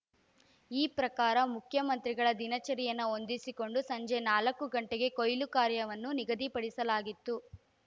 ಈ ಪ್ರಕಾರ ಮುಖಮಂತ್ರಿಗಳ ದಿನಚರಿಯನ್ನು ಹೊಂದಿಸಿಕೊಂಡು ಸಂಜೆ ನಾಲ್ಕು ಗಂಟೆಗೆ ಕೊಯ್ಲು ಕಾರ್ಯವನ್ನು ನಿಗದಿಪಡಿಸಲಾಗಿತ್ತು